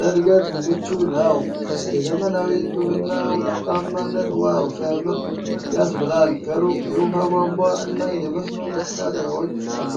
ለዕድገት ምቹ ነው ። የዘመናዊ ግብርና ውጤታማነት 'ዋው ሲያምር' ያስብላል። ከሩቅ የውኃ ቧንቧ እና የመስኖ መሣሪያዎች አሉ።